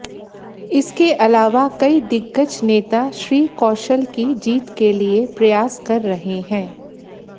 इसके अलावा कई दिग्गज नेता श्री कौशल की जीत के लिए प्रयास कर रहे हैं